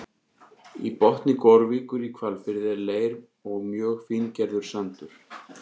Í botni Gorvíkur í Hvalfirði er leir og mjög fíngerður sandur.